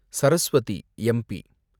Saraswati, MP